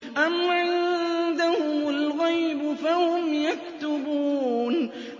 أَمْ عِندَهُمُ الْغَيْبُ فَهُمْ يَكْتُبُونَ